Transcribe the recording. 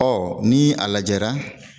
Ɔ ni a lajɛra